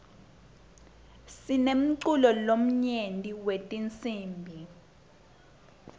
sinemculo lomnyenti wetinsibi